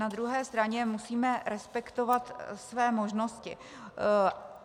Na druhé straně musíme respektovat své možnosti.